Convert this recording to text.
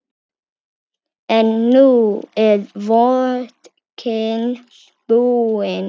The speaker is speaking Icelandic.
En nú er vodkinn búinn.